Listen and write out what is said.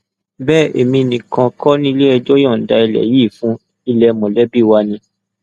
bẹẹ èmi nìkan kọ ni iléẹjọ yọǹda ilé yìí fún ilé mọlẹbí wa ni